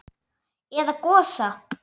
Eða Gosa?